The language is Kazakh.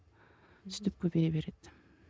сөйтіп көбейе береді